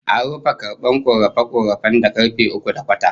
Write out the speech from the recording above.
An rufe karbar korafe-korafen da karfe uku da kwata